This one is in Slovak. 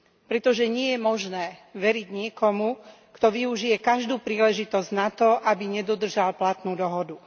Pretože nie je možné veriť niekomu, kto využije každú príležitosť na to, aby nedodržal platnú dohodu.